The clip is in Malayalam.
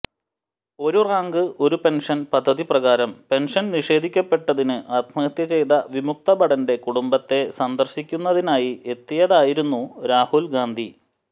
ഒരു റാങ്ക് ഒരു പെന്ഷന് പദ്ധതിപ്രകാരം പെന്ഷന് നിഷേധിക്കപ്പെട്ടതിന് ആത്മഹത്യ ചെയ്ത വിമുക്തഭടന്റെ കുടുംബത്തെ സന്ദര്ശിക്കുന്നതിനായി എത്തിയതായിരുന്നു രാഹുല് ഗാന്ധി